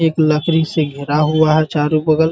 एक लकड़ी से घिरा हुआ है चारो बगल --